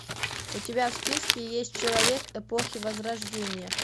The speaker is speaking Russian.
у тебя в списке есть человек эпохи возрождения